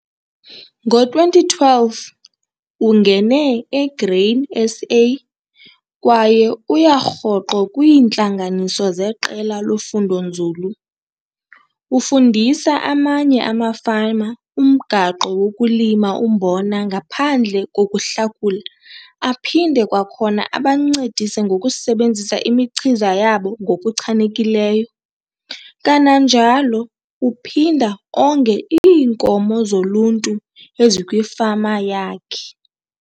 Ngo-2012 ungene eGrain SA kwaye uya rhoqo kwiintlanganiso zeqela lofundonzulu. Ufundisa amanye amafama umgaqo wokulima umbona ngaphandle kokuhlakula aphinde kwakhona abancedise ngokusebenzisa imichiza yabo ngokuchanekileyo, kananjalo uphinda onge iinkomo zoluntu ezikwifama yakhe.